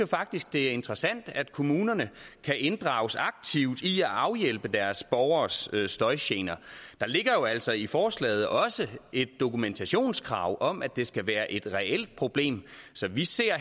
faktisk det er interessant at kommunerne kan inddrages aktivt i arbejdet med at afhjælpe deres borgeres støjgener der ligger jo altså i forslaget også et dokumentationskrav om at det skal være et reelt problem så vi ser